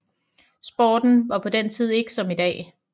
Sporten var på den tid ikke som i dag